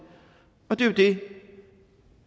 og det er jo det